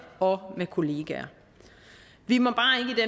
og med kollegaer vi må